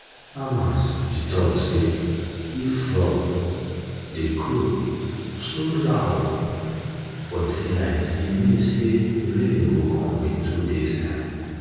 farmers be talk say if frogs dey croak so loud for daylight e mean say rain go come in two days time